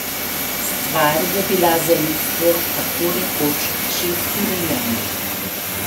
Stvar je bila za ljudstvo tako rekoč že urejena.